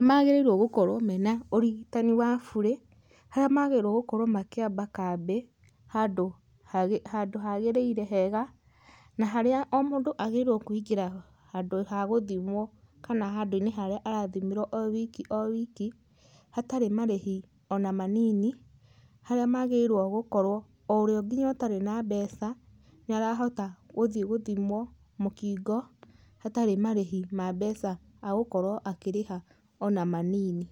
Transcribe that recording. Magĩrĩirwo gũkorwo mena ũrigitani wa bure haria magĩrĩirwo gũkorwo makĩamba kambĩ handũ hagĩrĩire hega na harĩa mũndũ agĩrĩirwe kũingĩra handu ha gũthimwo kana handũinĩ harĩa arathimĩrwo owiki owiki hatarĩ marĩhi ona manini haraĩ magĩrĩirwe gũkorwo oũrĩa atarĩ na mbeca níĩrahota gũthiĩ gũthimwo mũkingo hatarĩ marĩhi ma mbeca ma kũriha ona manini.